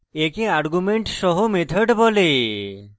একে arguments সহ method বলে